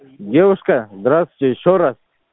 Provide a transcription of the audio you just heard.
девушка здравствуйте ещё раз